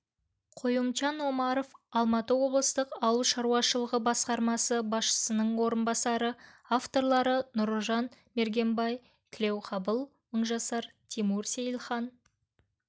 қоюмчан омаров алматы облыстық ауыл шаруашылығы басқармасы басшысының орынбасары авторлары нұржан мергенбай тілеуқабыл мыңжасар тимур сейілхан